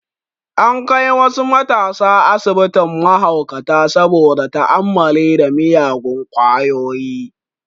An kai wasu matasa asibitin mahaukata saboda ta'ammali da miyagun kwayoyi